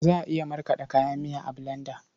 Za a iya markaɗe kayan miya a bulanda.